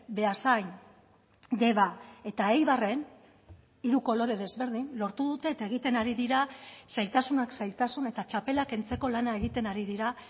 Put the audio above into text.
beasain deba eta eibarren hiru kolore desberdin lortu dute eta egiten ari dira zailtasunak zailtasun eta txapela kentzeko lana egiten ari dira